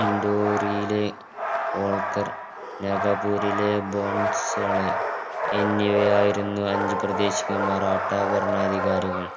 ഇൻഡോറിലെ ഓള്കര് നഗപ്പൂരിലെ ബാനസോളായി എന്നിവയായിരുന്നു അഞ്ച് പ്രദേശിക മറാഠ ഭരണാധികാരികൾ